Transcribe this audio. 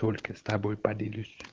только с тобой поделюсь